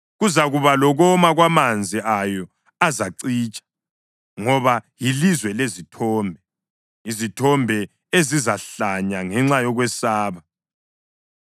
Kuzakuba lokoma kwamanzi ayo! Azacitsha. Ngoba yilizwe lezithombe, izithombe ezizahlanya ngenxa yokwesaba.